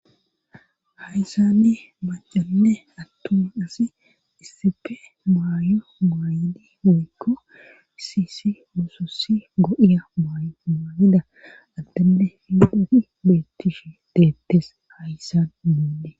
hayssanni macanne attun asi issepe maayo maayidi oykko isisi musossi go7iya maayo muayida addenne fidoti beettishi deettes hayssan moonde